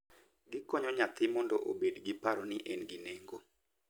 Gikonyo nyathi mondo obed gi paro ni en gi nengo.